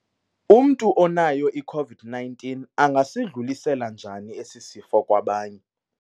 Umntu onayo i-COVID-19 angasidlulisela njani esi sifo kwabanye?